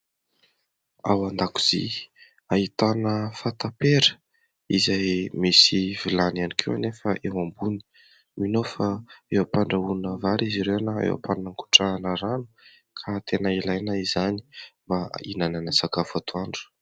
ao an-dakozia ahitana fatapera izay misy vilany iany koa anefa eo ambony mino ao fa eo am-pandrahoana vary izy ireo eo am-pangotrahana rano ka tena ilaina izany mba inanana sakafo atoandro